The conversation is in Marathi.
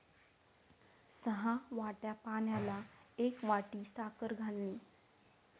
सहा वाट्या पाण्याला एक वाटी साखर घालणे.